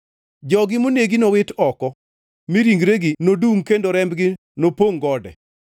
Jogi monegi nowit oko, mi ringregi nodungʼ kendo rembgi nopongʼ gode.